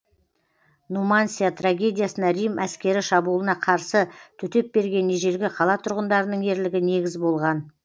нумансия трагедиясына рим әскері шабуылына қарсы төтеп берген ежелгі қала тұрғындарының ерлігі негіз болған